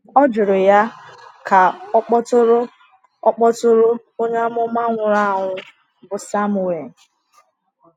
Ọ jụrụ ya ka ọ kpọtụrụ ọ kpọtụrụ onye amụma nwụrụ anwụ bụ Samuel.